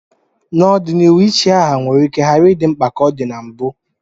N'ọdịnihu, ichi aha nwere ike ghara ịdị mkpa dị ka ọ dị na mbụ